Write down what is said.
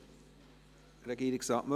Wünscht Regierungsrat Müller